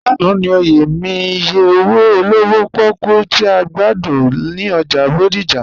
Lánà ni ọ̀yẹ̀ mi ìyẹ̀ owo olówò pòkú tì a gbàdún ni ọ́jà Bódìjà.